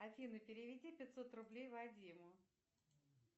афина переведи пятьсот рублей вадиму